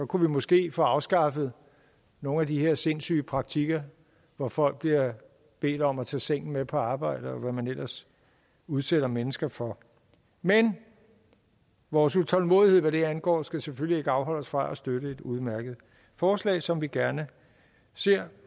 kunne vi måske få afskaffet nogle af de her sindssyge praktikker hvor folk bliver bedt om at tage sengen med på arbejde og hvad man ellers udsætter mennesker for men vores utålmodighed hvad det angår skal selvfølgelig ikke afholde os fra at støtte et udmærket forslag som vi gerne ser